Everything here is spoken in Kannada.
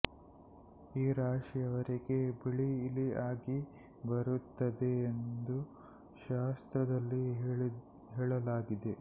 ಈ ರಾಶಿಯವರಿಗೆ ಬಿಳಿ ಇಲಿ ಆಗಿ ಬರುತ್ತದೆ ಎಂದು ಶಾಸ್ತ್ರದಲ್ಲಿ ಹೇಳಲಾಗಿದೆ